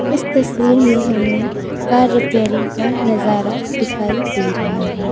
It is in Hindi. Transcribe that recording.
इस तस्वीर में हमें कार रिपेयरिंग का नजारा दिखाई दे रहा है।